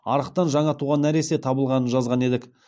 арықтан жаңа туған нәресте табылғанын жазған едік